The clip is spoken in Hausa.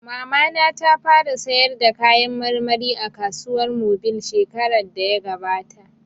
Mamana ta fara sayar da kayan marmari a kasuwar mobil shekarar da ya gabata